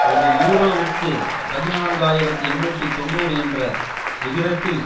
ஒரு யூரோவிற்கு பதினான்கு ஆயிரத்தி எண்ணூற்றி தொன்னூறு என்ற விகிதத்தில்